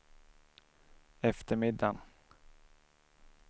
eftermiddagen